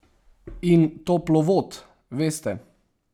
In toplovod, veste.